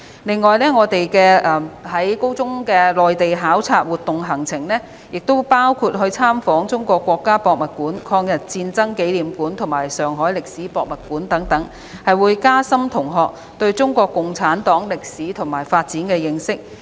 此外，高中的內地考察活動行程，亦包括參訪中國國家博物館、中國人民抗日戰爭紀念館及上海市歷史博物館，以加深同學對中國共產黨歷史和發展的認識。